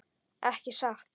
Ekki satt.